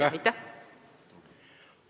Aitäh-aitäh!